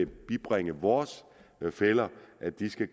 bibringe vores fæller at de skal